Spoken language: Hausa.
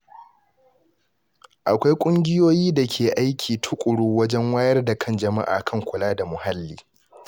Akwai ƙungiyoyi da ke aiki tuƙuru wajen wayar da kan jama’a kan kula da muhalli.